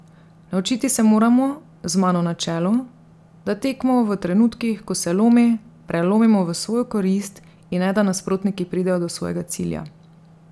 Naučiti se moramo, z mano na čelu, da tekmo v trenutkih, ko se lomi, prelomimo v svojo korist, in ne da nasprotniki pridejo do svojega cilja.